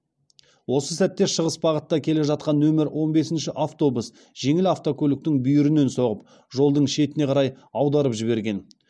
осы сәтте шығыс бағытта келе жатқан нөмір он бесінші автобус жеңіл автокөліктің бүйірінен соғып жолдың шетіне қарай аударып жіберген